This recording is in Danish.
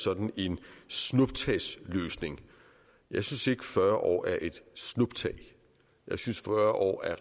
sådan en snuptagsløsning jeg synes ikke fyrre år er et snuptag jeg synes fyrre år er